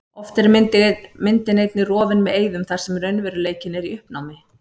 Oft er myndin einnig rofin með eyðum þar sem raunveruleikinn er í uppnámi.